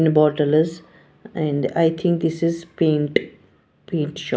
in bottle is and i think this is paint paint shop.